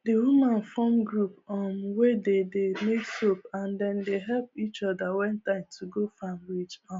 the woman form group um wey dey dey make soap and they dey help each other when time to go farm reach um